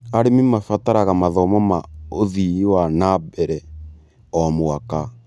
Arimũ mabataraga mathomo ma ũthii wa na mbere o mwaka.